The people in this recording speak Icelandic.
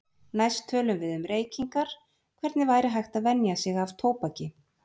Næst tölum við um reykingar, hvernig væri hægt að venja sig af tóbaki.